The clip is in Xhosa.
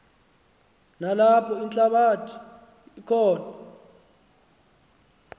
nalapho althabatha khona